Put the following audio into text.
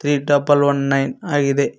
ಈ double one nine ಆಗಿದೆ.